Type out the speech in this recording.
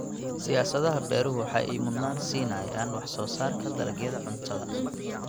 Siyaasadaha beeruhu waxa ay mudnaan siinayaan wax soo saarka dalagyada cuntada.